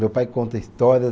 Meu pai conta histórias.